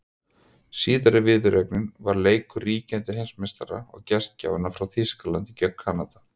Síðari viðureignin var leikur ríkjandi heimsmeistara og gestgjafanna frá Þýskalandi gegn Kanada.